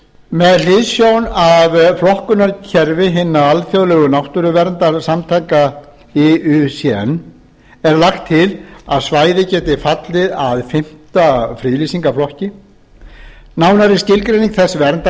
með hliðsjón af flokkunarkerfi hinna alþjóðlegu náttúruverndarsamtaka iucn er lagt til að svæðið geti fallið að fimmta friðlýsingarflokki nánari skilgreining þessa verndarstigs